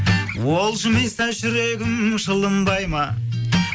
ол жымиса жүрегім жылынбай ма